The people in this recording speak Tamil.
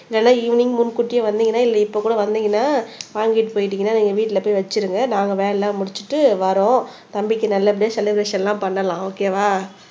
இல்லைன்னா ஈவினிங் முன் கூட்டியே வந்தீங்கன்னா இல்ல இப்ப கூட வந்தீங்கன்னா வாங்கிட்டு போயிட்டீங்கன்னா நீங்க வீட்டிலே போய் வச்சிருங்க நாங்க வேலை எல்லாம் முடிச்சிட்டு வர்றோம் தம்பிக்கு நல்லபடியா செலிப்ரஷன் எல்லாம் பண்ணலாம் ஓகே வா